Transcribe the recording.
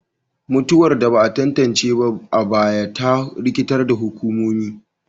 Mutuwar da ba a tantance ba a baya ta rikitar da hukumomi,